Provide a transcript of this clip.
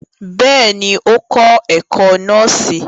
Bẹ́ẹ̀ni, o kọ ẹkọ nọọsi